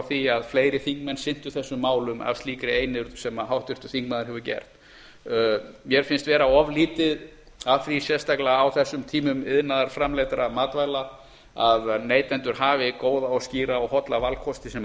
því að fleiri þingmenn sinntu þessum málum af slíkri einurð sem háttvirtur þingmaður hefur gert mér finnst vera of lítið af því sérstaklega þessum tímum iðnaðarframleiddra matvæla að neytendur hafi góða skýra og holla valkosti sem